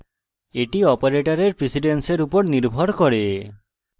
এটি অপারেটরের precedence উপর নির্ভর করে